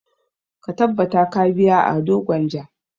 Ta tabbata ka biya ado gwanja!